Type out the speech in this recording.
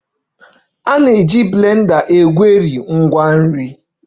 The blender na-eji maka egweri nri stuffs